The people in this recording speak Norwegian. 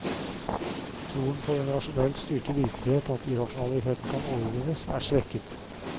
Troen på den rasjonelt styrte virkelighet, at irrasjonaliteten kan overvinnes, er svekket.